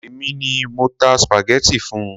Èmi ni mo ta spaghetti fun.